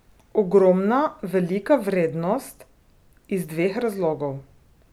Ogromna, velika vrednost, iz dveh razlogov.